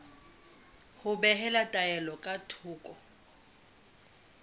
ho behela taelo ka thoko